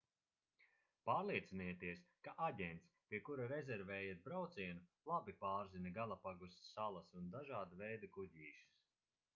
pārliecinieties ka aģents pie kura rezervējat braucienu labi pārzina galapagu salas un dažāda veida kuģīšus